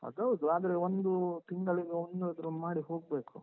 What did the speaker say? ಅದ್ ಹೌದು. ಆದ್ರೆ, ಒಂದು ತಿಂಗಳಿಗೊಮ್ಮೆಯಾದ್ರೂ ಮಾಡಿ ಹೋಗ್ಬೇಕು.